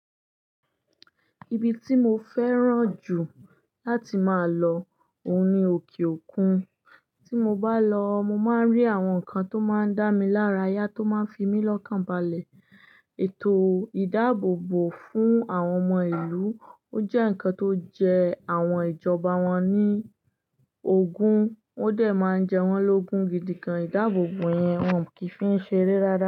Ibi tí mo fẹ́ràn jù láti máa lọ òun ni òkè òkun. Tí mo bá lọ, mo máa ń rí àwọn nǹkan tó máa ń dá mi lára yá tó máa ń fi mí lọ́kàn balẹ̀. Ètò ìdáàbòbò fún àwọn ọmọ ìlú, ó jẹ́ nǹkan tó ń jẹ àwọn ìjọba wọn ní ogún, ó dẹ̀ máa ń jẹ wọ́n lógún gidi gan. Ìdáàbòbò yẹn wọn kì í fi ń ṣe eré rárá.